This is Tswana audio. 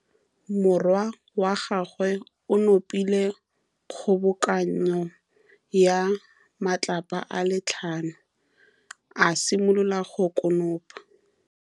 Morwa wa gagwe o nopile kgobokanô ya matlapa a le tlhano, a simolola go konopa.